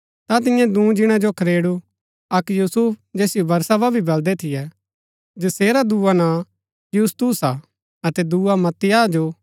ता तिन्ये दूँ जीणा जो खड़ेरू अक्क यूसुफ जैसिओ बरसबा भी बलदै थियै जैसेरा दुआ नां यूसतुस हा अतै दूँआ मत्तियाह जो